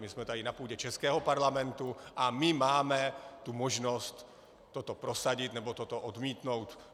My jsme tady na půdě českého parlamentu a my máme tu možnost toto prosadit, nebo toto odmítnout.